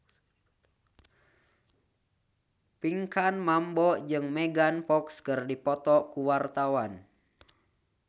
Pinkan Mambo jeung Megan Fox keur dipoto ku wartawan